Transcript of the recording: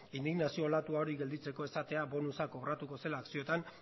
indignazio olatu hori geratzeko esatea bonusa kobratuko zela akzioetan